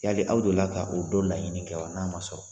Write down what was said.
Yali aw deli la ka o dɔ laɲini kɛ n'a ma sɔrɔ